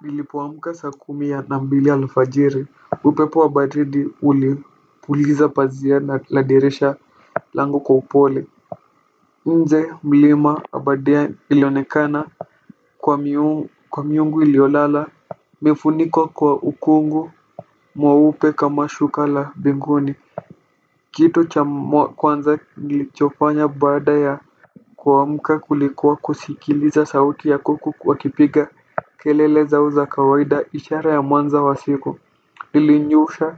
Nilipoamka saa kumi na mbili alfajiri upepo wa baridi ulipuliza pazia na la dirisha langu kwa upole nje mlima abadea ilionekana kwa miungu iliolala imefunikwa kwa ukungu mweupe kama shuka la binguni kitu cha kwanza nilichofanya baada ya kuamka kulikuwa kusikiliza sauti ya kuku wakipiga. Kelele zao za kawaida ishara ya mwanzo wa siku nilinyoosha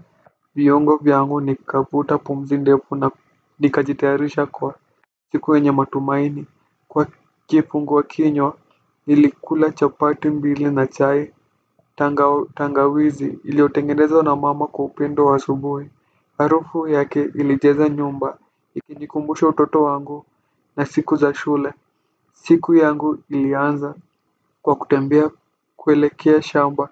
viungo vyangu nikavuta pumzi ndefu na nikajitayarisha kwa siku yenye matumaini. Kwa kifunguakinywa nilikula chapati mbili na chai tangawizi iliyotengenezwa na mama kwa upendo wa asubui. Harufu yake ilijaza nyumba ikinikumbusha utoto wangu na siku za shule. Siku yangu ilianza kwa kutembea kuelekea shamba.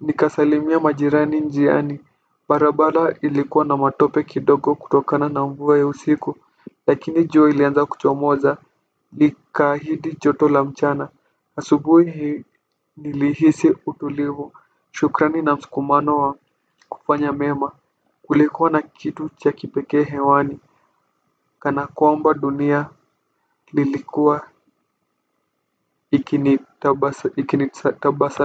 Nikasalimia majirani njiani. Barabara ilikuwa na matope kidogo kutokana na mvua ya usiku. Lakini jua ilianza kuchomoza. Nikaahidi joto la mchana. Asubui nilihisi utulivu. Shukrani na mskumano wa kufanya mema. Kulikuwa na kitu cha kipekee hewani kana kwamba dunia lilikuwa ikinitabasa ikinitabasa.